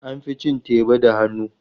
An fi cin teba da hannu.